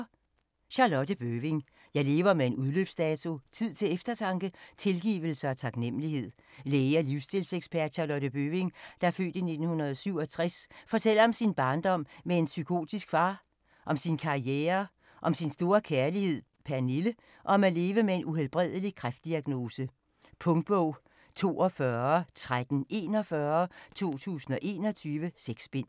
Bøving, Charlotte: Jeg lever med en udløbsdato: tid til eftertanke, tilgivelse og taknemmelighed Læge og livsstilsekspert Charlotte Bøving (f. 1967) fortæller om sin barndom med en psykopatisk far, om sin karriere, om sin store kærlighed Pernille, og om at leve med en uhelbredelig kræftdiagnose. Punktbog 421341 2021. 6 bind.